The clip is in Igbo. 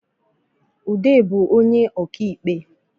Ude bu onye ọka ikpe